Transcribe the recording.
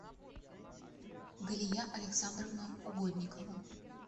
галия александровна угодникова